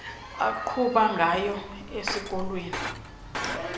aqhuba ngayo esikolweni